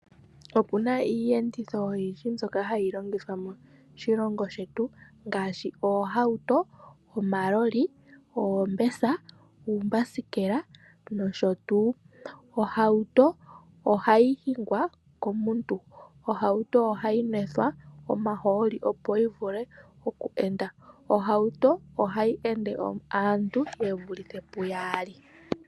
Opuna iiyenditho oyindji mbyoka hayi longithwa moshilongo shetu ngaashi oohauto, omaloli, oombesa, oombasikela nosho tuu. Ohauto ohayi hingwa komuntu, ohauto ohayi mwethwa omahooli opo yi vule oku enda. Ohauto ohayi ende aantu ye vulithe pu yaali.